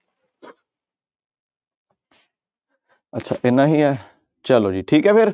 ਅੱਛਾ ਇੰਨਾ ਹੀ ਹੈ ਚਲੋ ਜੀ ਠੀਕ ਹੈ ਫਿਰ।